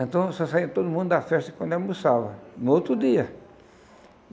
Então só saía todo mundo da festa quando almoçava, no outro dia.